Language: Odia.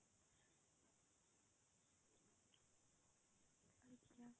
ଆଚ୍ଛା।